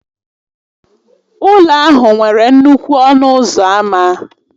Ụlọ ahụ nwere nnukwu ọnụ ụzọ ámá